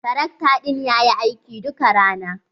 Tarakta ɗin ya yi aiki duka rana.